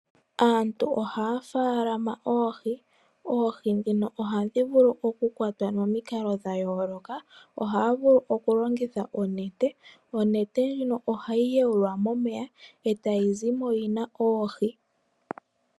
Aantu ohaya ofaalama oohi. Oohi dhino ohadhi vulu okukwatwa momikalo dha yooloka, ohaya vulu okulongitha onete. Onete ndjono hayi umbilwa momeya eta yizimo yina oohi.